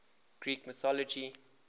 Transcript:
greek mythology